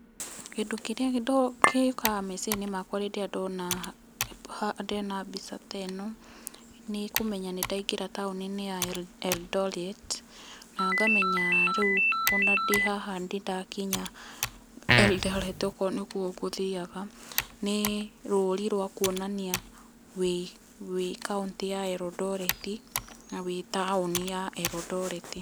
Kĩndũ kĩrĩa gĩũkaga meciria-ini makwa rĩrĩa ndona, ndona mbica ta ĩno, nĩ kũmenya nĩ ndaingĩra taũni-inĩ ya Eldoret, na ngamenya rĩũ o na ndĩ haha nĩ ndakinya Eldoret, okorwo nĩ kuo ngũthiaga, nĩ rũri rwa kuonania wĩ kaũntĩ ya Eldoret, na wĩ taũni ya Eldoret.